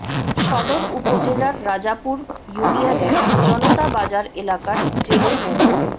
সদর উপজেলার রাজাপুর ইউনিয়নের জনতা বাজার এলাকার জেলে মো